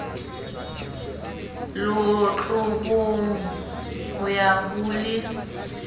lotlobong ho ya ho le